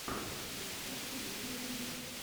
рецепт лизы вивер